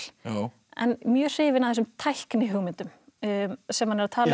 en mjög hrifin af þessum tæknihugmyndum sem hann er að tala um